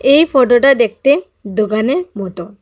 এই ফটোটা দেখতে দোকানের মতো।